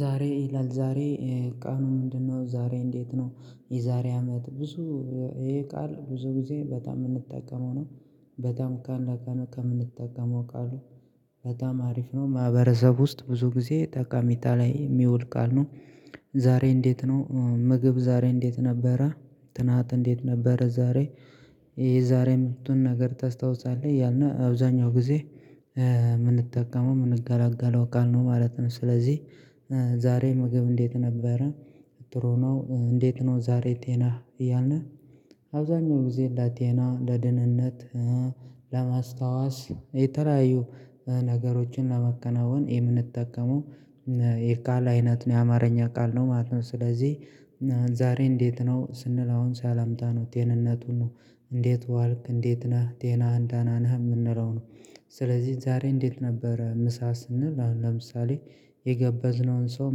ዛሬ ይላል ዛሬ ቃኑ ምንድነው ዛሬ እንዴት ነው? የዛሬ አመት ብዙ ይሄ ቃል ብዙ ጊዜ በጣም የምንጠቀመው ነው። በጣም ካንዳንዱ ከምንጠቀመው ቃሉ በጣም አሪፍ ነው። ማህበረሰብ ውስጥ ብዙ ጊዜ ጠቃሜታ ላይ የሚውል ቃል ነው። ዛሬ እንዴት ነው ምግብ ዛሬ እንዴት ነበረ? ትናንት እንዴት ነበረ? ዛሬ የዛሬ ምርጡን ነገር ተስታውሳለህ እያልን አብዛኛው ጊዜ የምንጠቀመው የምንጋላጋለው ቃልነው ማለት ነው። ስለዚህ ዛሬ ምግብ እንዴት ነበረ? ጥሩ ነው እንዴት ነው ዛሬ ጤናህ እያልን? አብዛኛው ጊዜ ለጤና ለደህንነት ለማስታወስ የተለያዩ ነገሮችን ለመከናወን የምንጠቀመው የቃል አይነት ነው። የአማርኛ ቃል ነው ማለት ነው። ስለዚህ ዛሬ እንዴት ነው? ስንል አሁን ሳላምታ ነው ጤንነቱን ነው እንዴት ዋልክ እንዴት ነህ ጤናህን ዳና ናህ የምንለው ነው። ስለዚህ ዛሬ እንዴት ነበረ? ምሳ ስንል አሁን ለምሳሌ የገበዝነውን ሰው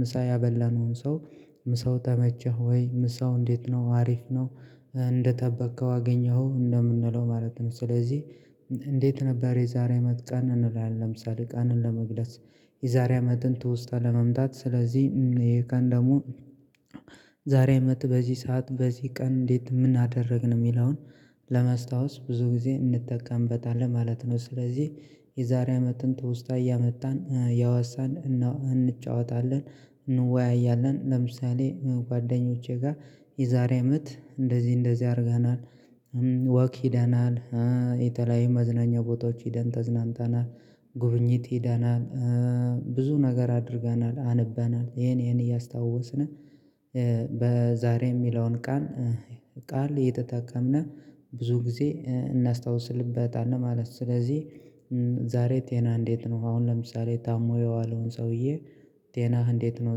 ምሳ ያበላነውን ሰው ምሳው ተመቸህ ወይ ምሳው እንዴት ነው? አሪፍ ነው እንደጠበከው አገኘኸው እንደምንለው ማለት ነው። ስለዚህ እንዴት ነበር የዛሬ አመት ቀን እንላለን? ለምሳሌ ቃንን ለመግልፅ የዛሬ አመትን ትውስታ ለመምጣት ስለዚህ ይህ ቀን ደግሞ ዛሬ አመት በዚህ ሰዓት በዚህ ቀን እንዴት ምን አደርግን የሚለውን ለመስታወስ ብዙ ጊዜ እንጠቀምበታለን ማለት ነው። ስለዚህ የዛሬ አመትን ትውስታ እያመጣን እያዋሳን እንጫወታለን። እንወያያለን ለምሳሌ ጓደኞቼ ጋር የዛሬ አመት እንደዚህ እንደዚህ አድርገናል። ወክ ሄደናል። የተለያየ መዝናኛ ቦታዎች ሄደን ተዝናንተናል። ጉብኝት ሄደናል። ብዙ ነገር አድርገናል አንበናል ይሄን ይሄን እያስታወስን በዛሬ የሚለውን ቃን ቃል እየተጠቀምን ብዙ ጊዜ እናስታውስልበታለን ማለት ነው። ስለዚህ ዛሬ ጤና እንዴት ነው? አሁን ለምሳሌ ታሞ የዋለውን ሰውዬ ጤናህ እንዴት ነው?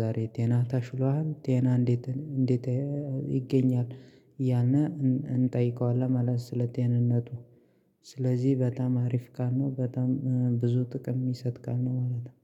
ዛሬ ጤናህ ታሽሎሃል ጤናህ እንዴት እንዴት ይገኛል? ያና እንጠይቀዋለን ማለት ስለ ጤንነቱ ስለዚህ በጣም አሪፍ ካልነው በጣም ብዙ ጥቅም ምሰጥ ቃል ነው ማለት ነው